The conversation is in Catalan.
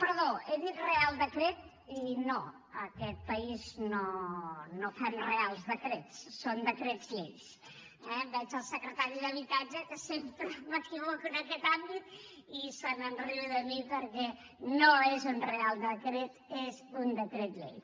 perdó he dit reial decret i no en aquest país no fem reials decrets són decrets llei eh veig el secretari d’habitatge que sempre m’equivoco en aquest àmbit se’n riu de mi perquè no és un reial decret és un decret llei